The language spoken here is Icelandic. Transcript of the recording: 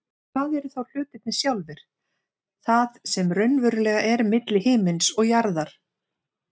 En hvað eru þá hlutirnir sjálfir, það sem raunverulega er milli himins og jarðar?